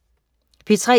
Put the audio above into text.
P3: